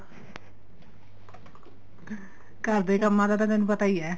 ਘਰ ਦੇ ਕੰਮਾ ਦਾ ਤਾਂ ਤੈਨੂੰ ਪਤਾ ਈ ਏ